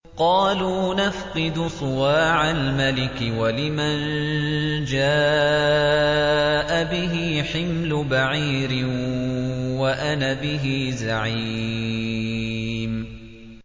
قَالُوا نَفْقِدُ صُوَاعَ الْمَلِكِ وَلِمَن جَاءَ بِهِ حِمْلُ بَعِيرٍ وَأَنَا بِهِ زَعِيمٌ